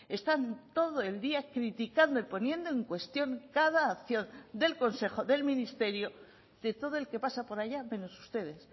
están todo el día criticando y poniendo en cuestión cada acción del consejo del ministerio de todo el que pasa por allá menos ustedes